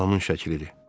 Anamın şəklidir.